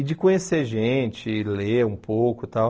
E de conhecer gente, ler um pouco e tal.